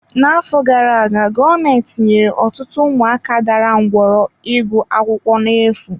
N'afọ gara aga, gọọmentị nyere ọtụtụ ụmụaka dara ngwọrọ ịgụ akwụkwọ na-efu.